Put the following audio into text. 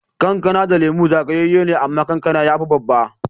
Kankana da Lemu zagayeye ne, amma kankana ya fi babba.